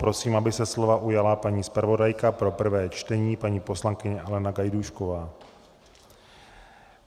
Prosím, aby se slova ujala paní zpravodajka pro prvé čtení, paní poslankyně Alena Gajdůšková.